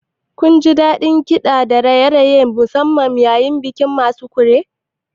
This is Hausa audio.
Kunji daɗin kiɗa da raye-raye na musamman yayin bikin Masquerade?